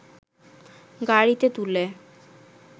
গাড়ীতে তুলে